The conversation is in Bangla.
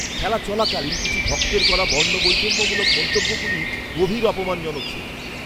খেলা চলাকালীন কিছু ভক্তের করা বর্ণবৈষম্যমূলক মন্তব্যগুলি গভীর অপমানজনক ছিল।